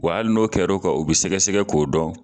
Wa hali n'o kɛr'o kan o bɛ sɛgɛsɛgɛ k'o dɔn